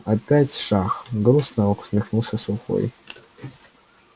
опять шах грустно усмехнулся сухой